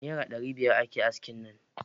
Naira dari biyar ake aski nan.